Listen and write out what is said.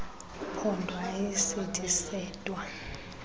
phondo ayisithi sedwa